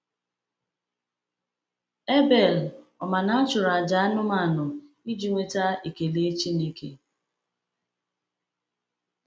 Abel, ọ̀ ma na a chọrọ àjà anụmanụ iji nweta ekele Chineke?